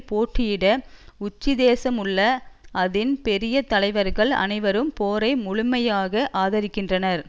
போட்டியிட உச்சிதேசம் உள்ள அதின் பெரிய தலைவர்கள் அனைவரும் போரை முழுமையாக ஆதரிக்கின்றனர்